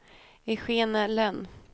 Eugenia Lönn